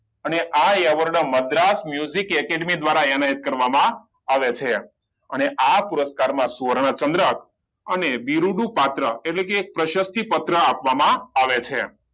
અને આ award madras music academy દ્વારા કરવામાં આવે છે અને આ પુરસ્કાર માં સુવર્ણ ચંદ્રક અને બિરૃડું પાત્ર એટલે કે પ્રસતી પત્ર આપવામાં આવે છે